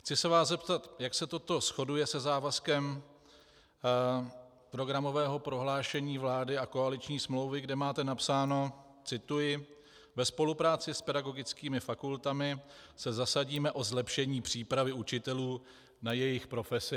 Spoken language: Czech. Chci se vás zeptat, jak se toto shoduje se závazkem programového prohlášení vlády a koaliční smlouvy, kde máte napsáno - cituji: Ve spolupráci s pedagogickými fakultami se zasadíme o zlepšení přípravy učitelů na jejich profesi.